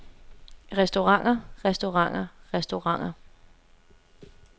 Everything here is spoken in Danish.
restauranter restauranter restauranter